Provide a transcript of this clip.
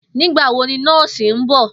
Nígbà wo ni nó̩ò̩sì ń bò̩?